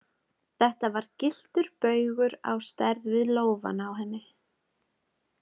Þetta var gylltur baugur á stærð við lófann á henni.